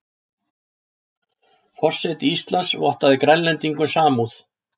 Forseti Íslands vottaði Grænlendingum samúð